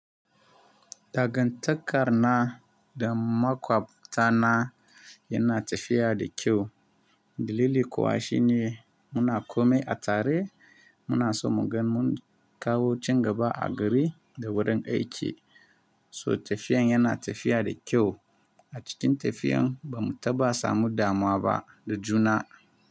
Dagantakar na da makwabta na yana tafiya da kyau. Dalili kuwa shi ne muna komai a tare, muna so mu gan mun kawo cin gaba a gari da wurin aiki. So tafiyan yana tafiya da kyau. A cikin tafiyan ba mu taba samu damuwa ba da juna.